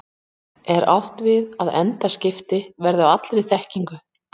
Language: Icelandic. Er átt við að endaskipti verði á allri þekkingu?